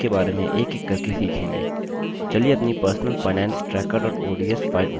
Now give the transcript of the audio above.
चलिए अपनी personalfinancetracker ods file open करते हैं